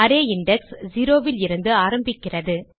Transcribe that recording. array index 0லிருந்து ஆரம்பிக்கிறது